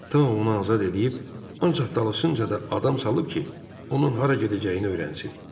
Tao onu azad eləyib, ancaq dalısınca da adam salıb ki, onun hara gedəcəyini öyrənsin.